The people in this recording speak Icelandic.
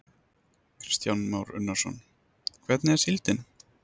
Kristján Már Unnarsson: Hvernig er síldin?